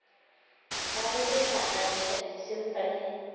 a rekiša atšha disimba le